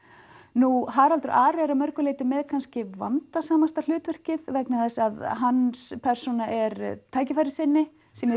nú Haraldur Ari er að mörgu leyti með kannski vandasamasta hlutverkið vegna þess að hans persóna er tækifærissinni sem í